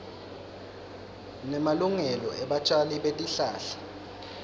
nemalungelo ebatjali betihlahla